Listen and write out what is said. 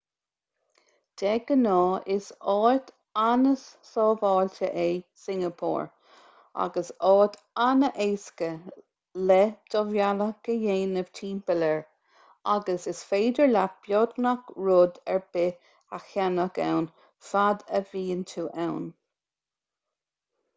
de ghnáth is áit an-sábháilte é singeapór agus áit an-éasca le do bhealach a dhéanamh timpeall air agus is féidir leat beagnach rud ar bith a cheannach ann fad a bhíonn tú ann